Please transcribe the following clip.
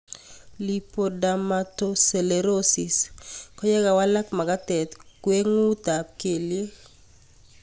Lipodermatosclerosis ko ye walak mag'atet ng'weng'ut ab kelyek